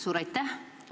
Suur aitäh!